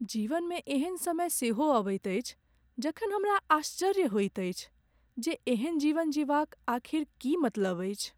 जीवनमे एहन समय सेहो अबैत अछि जखन हमरा आश्चर्य होइत अछि जे एहन जीवन जीबाक आखिर की मतलब अछि?